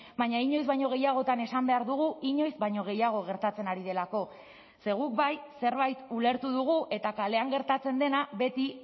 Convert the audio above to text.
baina inoiz baino gehiagotan esan behar dugu inoiz baino gehiago gertatzen ari delako ze guk bai zerbait ulertu dugu eta kalean gertatzen dena beti